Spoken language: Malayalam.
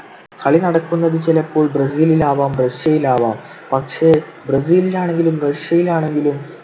കളി നടക്കുന്നത് ചിലപ്പോൾ ബ്രസീലിലാവാം റഷ്യയിലാവാം. പക്ഷെ ബ്രസീലിലാണെങ്കിലും റഷ്യയിലാണെങ്കിലും